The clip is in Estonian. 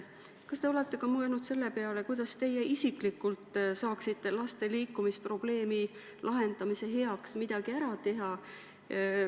Kas te olete ka mõelnud selle peale, kuidas teie isiklikult saaksite laste liikumisprobleemi lahendamise heaks midagi ära teha?